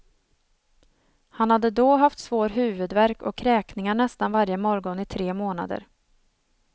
Han hade då haft svår huvudvärk och kräkningar nästan varje morgon i tre månader.